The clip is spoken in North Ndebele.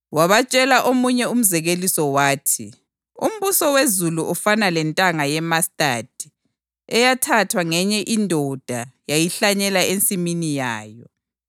Wabatshela omunye umzekeliso wathi, “Umbuso wezulu ufana lentanga yemastadi eyathathwa ngenye indoda yayihlanyela ensimini yayo.